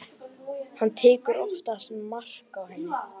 Hann tekur oftast mark á henni.